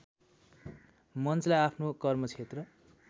मञ्चलाई आफ्नो कर्मक्षेत्र